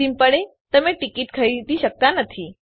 અંતિમ પળે તમે ટીકીટ ખરીદી શકતા નથી